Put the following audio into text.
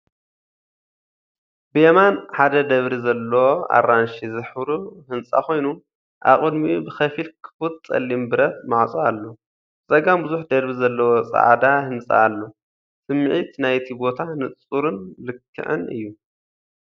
ብየማን ሓደ ደብሪ ዘለዎ ኣራንሺ ዝሕብሩ ህንጻ ኮይኑ፡ ኣብ ቅድሚኡ ብኸፊል ክፉት ጸሊም ብረት ማዕጾ ኣሎ። ብጸጋም ብዙሕ ደርቢ ዘለዎ ጻዕዳ ህንጻ ኣሎ፣ ስምዒት ናይቲ ቦታ ንጹርን ልክዕን እዩ።